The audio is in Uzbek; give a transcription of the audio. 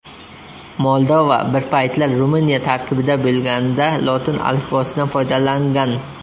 Moldova bir paytlar Ruminiya tarkibida bo‘lganida lotin alifbosidan foydalangan.